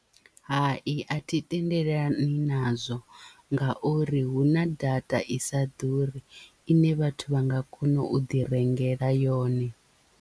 Hai a thi tendelani nazwo ngauri hu na data i sa ḓuri ine vhathu vha nga kona u ḓi rengela yone.